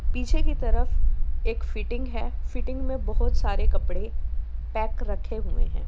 पीछे की तरफ एक फिटिंग है फिटिंग में बहुत सारे कपड़े पैक रखे हुए हैं।